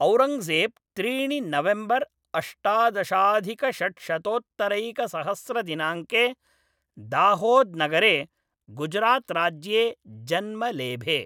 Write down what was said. औरङ्गजेब् त्रीणि नवेम्बर् अष्टादशाधिकषड्शतोत्तरैकसहस्रदिनाङ्के दाहोद्नगरे, गुजरात् राज्ये जन्म लेभे।